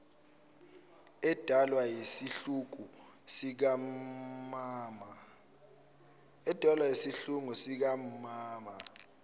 edalwa isihluku sikammmmmama